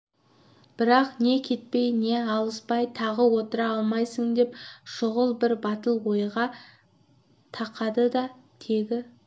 бірақ не кетпей не алыспай тағы отыра алмайсың деп шұғыл бір батыл ойға тақады да тегі